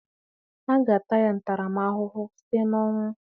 A ga-ata ya ntaramahụhụ site na ọnwụ